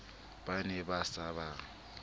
ba ne ba sa ba